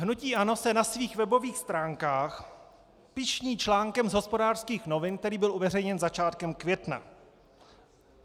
Hnutí ANO se na svých webových stránkách pyšní článkem z Hospodářských novin, který byl uveřejněn začátkem května.